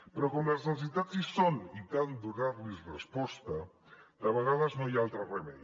però com les necessitats hi són i cal donar hi resposta de vegades no hi ha altre remei